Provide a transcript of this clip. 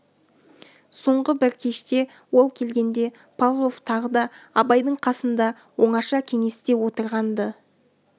соңғы бір кеште ол келгенде павлов тағы да абайдың қасында оңаша кеңесте отырған-ды